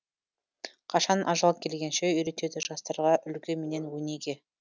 қашан ажал келгенше үйретеді жастарға үлгі менен өнеге